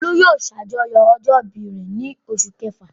Olú yóò ṣàjọyọ̀ ọjọ́ ìbí rẹ̀ ní oṣù kẹfà.